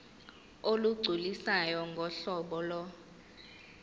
olugculisayo ngohlobo lo